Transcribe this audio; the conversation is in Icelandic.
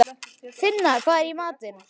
Finna, hvað er í matinn?